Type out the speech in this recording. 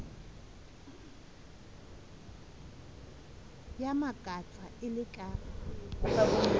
ya makatsang e le ka